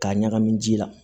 K'a ɲagami ji la